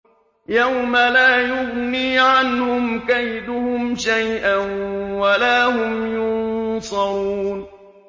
يَوْمَ لَا يُغْنِي عَنْهُمْ كَيْدُهُمْ شَيْئًا وَلَا هُمْ يُنصَرُونَ